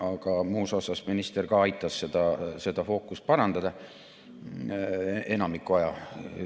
Aga muus osas aitas minister seda fookust parandada, enamiku aja.